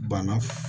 Banna